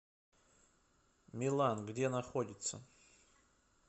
милан где находится